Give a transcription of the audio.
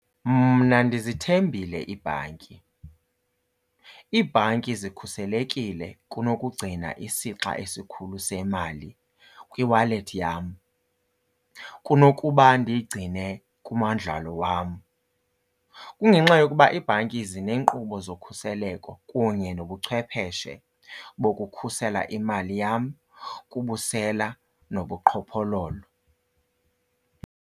Mna ndizithembile iibhanki. Iibhanki zikhuselekile kunokugcina isixa esikhulu semali kwiwalethi yam kunokuba ndiyigcine kumandlalo wam. Kungenxa yokuba iibhanki zineenkqubo zokhuseleko kunye nobuchwepheshe bokukhusela imali yam kubusela nobuqhophololo.